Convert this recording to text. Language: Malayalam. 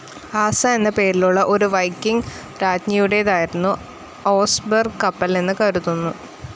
ആസ എന്ന പേരുള്ള ഒരു വൈക്കിംഗ്‌ രാജ്ഞിയുടേതായിരുന്നു ഓസ്ബെർഗ് കപ്പൽ എന്ന് കരുതുന്നു.